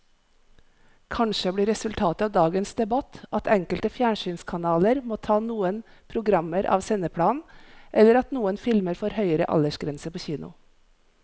Kanskje blir resultatet av dagens debatt at enkelte fjernsynskanaler må ta noen programmer av sendeplanen eller at noen filmer får høyere aldersgrense på kino.